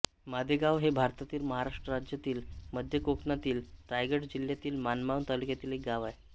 माधेगाव हे भारतातील महाराष्ट्र राज्यातील मध्य कोकणातील रायगड जिल्ह्यातील माणगाव तालुक्यातील एक गाव आहे